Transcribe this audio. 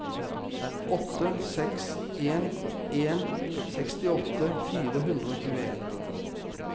åtte seks en en sekstiåtte fire hundre og tjueen